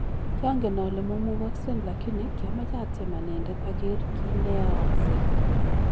Kyongen ole momugogsen lakini kyomoche atyem anendet oger kineeyoosek.